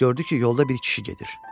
Gördü ki, yolda bir kişi gedir.